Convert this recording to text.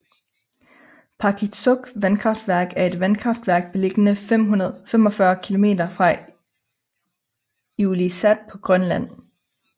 Paakitsoq vandkraftværk er et vandkraftværk beliggende 45 km fra Ilulissat på Grønland